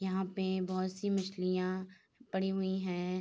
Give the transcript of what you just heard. यहाँ पे बहोत सी मछलियाँ पड़ी हुई हैं।